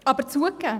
Aber zugegeben: